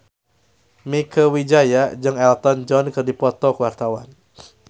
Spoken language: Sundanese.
Mieke Wijaya jeung Elton John keur dipoto ku wartawan